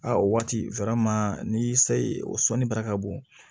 A o waati ni se o sɔnni bara ka bon